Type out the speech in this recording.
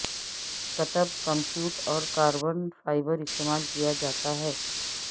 کتب کمپوٹ اور کاربن فائبر استعمال کیا جاتا ہے